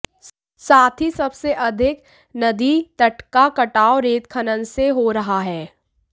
साथ ही सबसे अधिक नदी तट का कटाव रेत खनन से हो रहा है